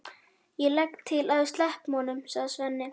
Ég legg líka til að við sleppum honum, sagði Svenni.